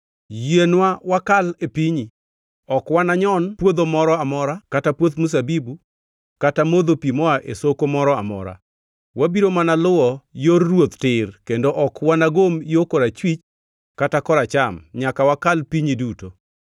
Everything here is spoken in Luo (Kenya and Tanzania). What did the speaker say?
Yienwa wakal e pinyi. Ok wananyon puodho moro amora kata puoth mzabibu, kata modho pi moa e soko moro amora. Wabiro mana luwo yor ruoth tir kendo ok wanagom yo korachwich kata koracham nyaka wakal pinyi duto.”